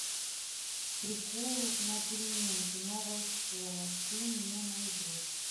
приколы на переменке новая школа ты мне найдешь